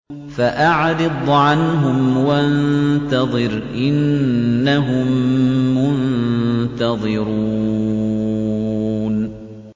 فَأَعْرِضْ عَنْهُمْ وَانتَظِرْ إِنَّهُم مُّنتَظِرُونَ